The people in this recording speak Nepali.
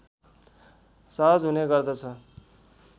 सहज हुने गर्दछ